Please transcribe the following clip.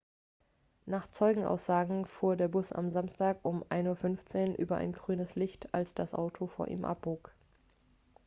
nach zeugenaussagen fuhr der bus am samstag um 1:15 uhr über ein grünes licht als das auto vor ihm abbog